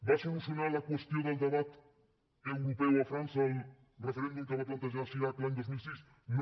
va solucionar la qüestió del debat europeu a frança el referèndum que va plantejar chirac l’any dos mil sis no